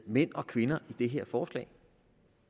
mænd og kvinder i det her forslag